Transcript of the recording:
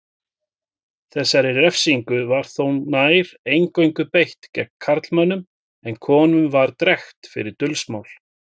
Þessari refsingu var þó nær eingöngu beitt gegn karlmönnum en konum var drekkt fyrir dulsmál.